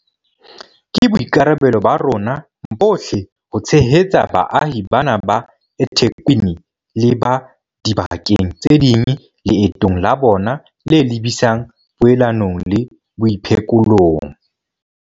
Ke boikarabelo ba rona bohle ho tshehetsa baahi bana ba eThekwini le ba diba keng tse ding leetong la bona le lebisang poelanong le boiphekolong.